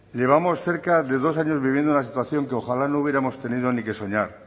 llevamos cerca de dos años viviendo una situación que ojalá no hubiéramos tenido ni que soñar